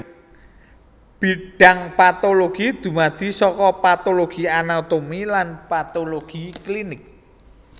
Bidhang patologi dumadi saka patologi anatomi lan patologi klinik